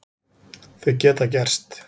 Þau geta gerst.